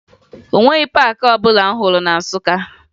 O nweghi paakị ọbụla m hụrụ na Nsụka